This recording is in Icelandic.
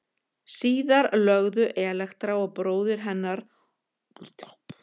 Síðar lögðu Elektra og bróðir hennar Órestes á ráðin um að hefna föður síns.